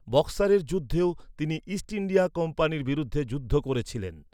বক্সারের যুদ্ধেও তিনি East India কোম্পানির বিরুদ্ধে যুদ্ধ করেছিলেন।